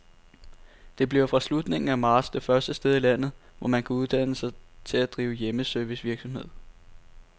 Det bliver fra slutningen af marts det første sted i landet, hvor man kan uddanne sig til at drive hjemmeservicevirksomhed.